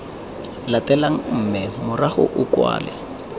latelang mme morago o kwale